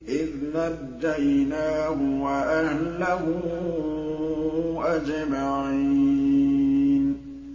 إِذْ نَجَّيْنَاهُ وَأَهْلَهُ أَجْمَعِينَ